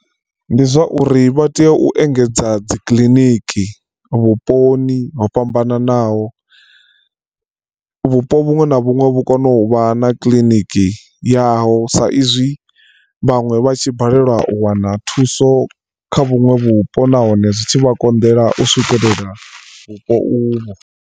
Ndi zwa uri vha tea u engedza dzi kiḽiniki vhuponi ho fhambananaho, vhupo vhuṅwe na vhuṅwe vhu kone u vha na kiḽiniki yaho sa izwi vhaṅwe vha tshi balelwa u wana thuso kha vhuṅwe vhupo nahone zwitshi vha konḓela u swikelela vhupo uvho.